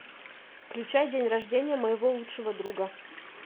включай день рождения моего лучшего друга